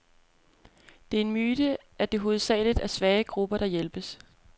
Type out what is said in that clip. Det er en myte, at det hovedsageligt er svage grupper, der hjælpes.